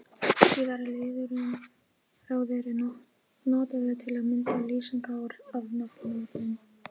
Síðara liðurinn-ráður er notaður til að mynda lýsingarorð af nafnorðum.